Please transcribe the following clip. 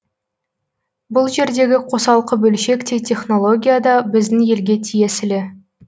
бұл жердегі қосалқы бөлшек те технология да біздің елге тиесілі